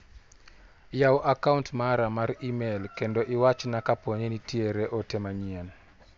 Yaw a kaunt mara mar imel kendo iwachna kaponi nitiere ote manyien.